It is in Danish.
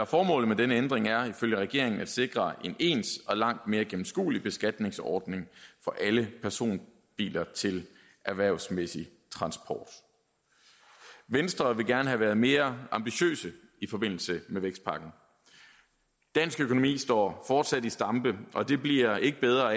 formålet med denne ændring er ifølge regeringen at sikre en ens og langt mere gennemskuelig beskatningsordning for alle personbiler til erhvervsmæssig transport venstre ville gerne have været mere ambitiøse i forbindelse med vækstpakken dansk økonomi står fortsat i stampe og det bliver ikke bedre